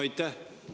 Aitäh!